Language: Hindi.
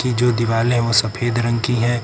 ये जो दीवाले हैं वो सफेद रंग की हैं।